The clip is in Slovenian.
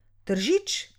Tržič.